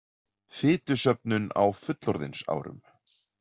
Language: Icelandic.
Fitusöfnun á fullorðinsárum